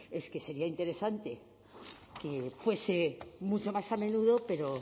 es que sería interesante que fuese mucho más a menudo pero